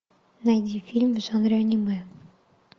найди фильм в жанре аниме